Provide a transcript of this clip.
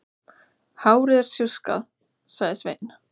Hárið er sjúskað, sagði Sveinn.